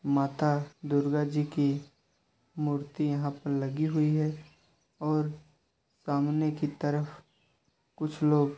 माता दुर्गाजी की मूर्ति यहां पर लगी हुई है और सामने की तरफ कुछ लोग ---